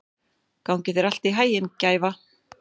Gangi þér allt í haginn, Gæfa.